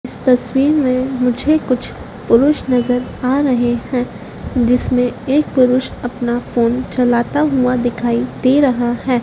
इस तस्वीर में मुझे कुछ पुरुष नजर आ रहे हैं जिसमें एक पुरुष अपना फोन चलाता हुआ दिखाई दे रहा है।